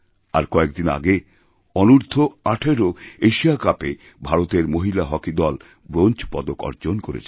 আর কয়েকদিন আগেঅনূর্দ্ধ ১৮ এশিয়া কাপে ভারতের মহিলা হকি দল ব্রোঞ্জ পদক অর্জন করেছেন